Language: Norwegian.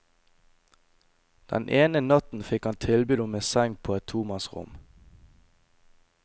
Den ene natten fikk han tilbud om en seng på et tomannsrom.